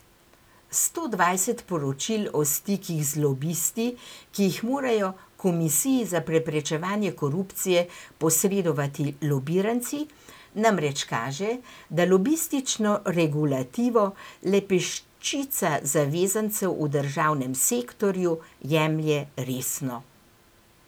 Sto dvajset poročil o stikih z lobisti, ki jih morajo komisiji za preprečevanje korupcije posredovati lobiranci, namreč kaže, da lobistično regulativo le peščica zavezancev v državnem sektorju jemlje resno.